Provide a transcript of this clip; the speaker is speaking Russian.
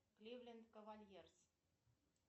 кливленд кавальерс